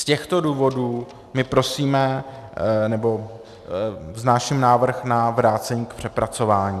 Z těchto důvodů my prosíme - nebo vznáším návrh na vrácení k přepracování.